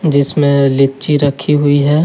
इसमें लीची रखी हुई है।